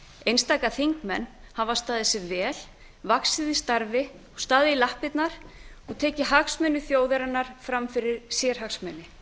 einstaka þingmenn hafa staðið sig vel vaxið í starfi og staðið í lappirnar og tekið hagsmuni þjóðarinnar fram fyrir sérhagsmuni